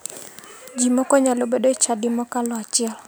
Ji moko nyalo bedo e chadi mokalo achiel.